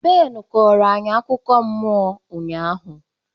Ben kooro anyị akụkọ mmụọ ụnyahụ.